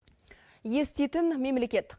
еститын мемлекет